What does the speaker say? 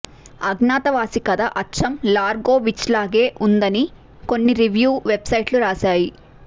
అజ్ఞాతవాసి కథ అచ్చం లార్గో వించ్లాగే ఉందని కొన్ని రివ్యూ వెబ్సైట్లు రాశాయి